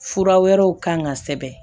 Fura wɛrɛw kan ka sɛbɛn